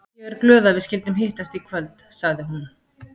Ég er glöð að við skyldum hittast í kvöld, sagði hún.